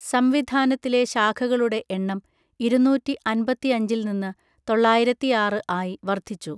സംവിധാനത്തിലെ ശാഖകളുടെ എണ്ണം ഇരുന്നൂറ്റി അൻപത്തിയഞ്ചിൽനിന്ന് തൊള്ളായിരത്തിയാറ് ആയി വർധിച്ചു